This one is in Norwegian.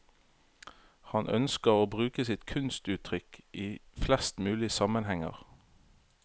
Han ønsker å bruke sitt kunstuttrykk i flest mulig sammenhenger.